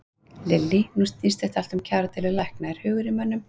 Lillý: Nú snýst þetta allt um kjaradeilu lækna, er hugur í mönnum?